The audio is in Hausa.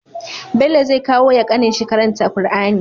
Bello zai kawo ya kanin shi karanta qur'ani